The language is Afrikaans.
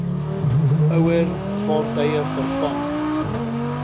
ouer vaartuie vervang